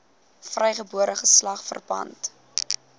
vrygebore geslag verpand